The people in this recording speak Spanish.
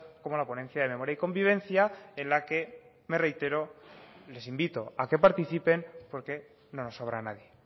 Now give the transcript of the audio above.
como la ponencia de memoria y convivencia en la que me reitero les invito a que participen porque no nos sobra nadie